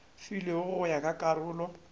filwego go ya ka karolo